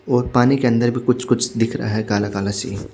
और पानी के अंदर भी कुछ कुछ दिख रहा है काला काला सीन --